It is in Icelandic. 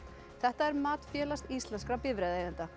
þetta er mat Félags íslenskra